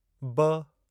ब